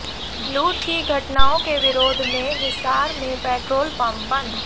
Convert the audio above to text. लूट की घटनाओं के विरोध में हिसार में पेट्रोल पंप बंद